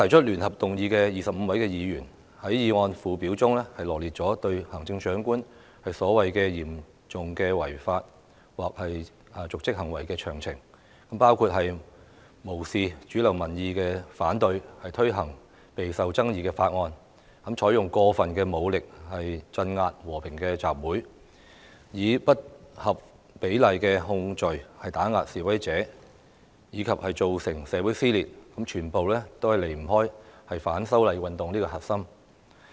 聯合提出議案的25位議員，在議案附表中羅列出行政長官所謂"嚴重違法或瀆職行為"的詳情，包括"無視主流民意反對，強推備受爭議的法案"、"採用過分武力鎮壓和平集會"、"以不合比例的控罪打壓示威者"，以及"造成社會撕裂"，全部均離不開反修例運動這個核心。